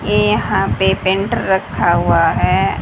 ये यहां पे पेंटर रखा हुआ है।